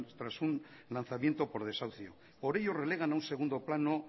tras un lanzamiento por desahucio por ello relegan a un segundo plano